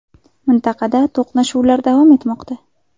Mintaqada to‘qnashuvlar davom etmoqda.